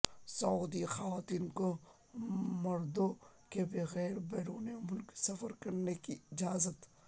سعودی خواتین کو مردوں کے بغیر بیرون ملک سفر کرنے کی اجازت